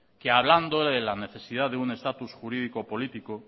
que hablando de la necesidad de un estatus jurídico político